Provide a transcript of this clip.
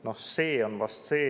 Noh, see on vast see …